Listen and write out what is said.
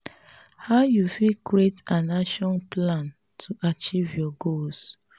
how you fit create an action plan to achieve your goals?